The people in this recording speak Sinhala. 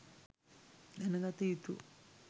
දැනගත යුතු